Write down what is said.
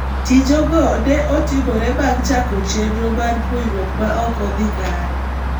Tijego ne otimore bang' chako chenro mar puonjruok ma ok odhi kare